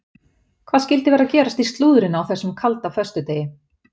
Hvað skyldi vera að gerast í slúðrinu á þessum kalda föstudegi?